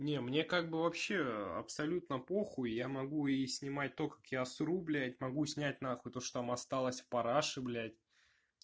не мне как бы вообще абсолютно похуй я могу и снимать то как я сру блядь могу снять нахуй то что там осталось в параше блядь